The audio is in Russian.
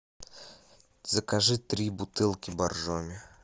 закажи три бутылки боржоми